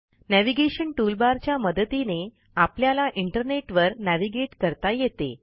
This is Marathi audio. नेव्हिगेशन टूलबार च्या मदतीने आपल्याला इंटरनेटवर नेव्हिगेट करता येते